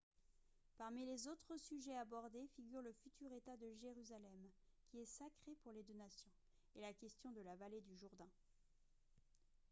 parmi les autres sujets abordés figurent le futur état de jérusalem qui est sacré pour les deux nations et la question de la vallée du jourdain